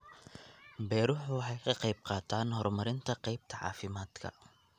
Beeruhu waxay ka qayb qaataan horumarinta qaybta caafimaadka.